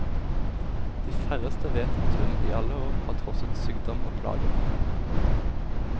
De færreste vet at hun i alle år har trosset sykdom og plager.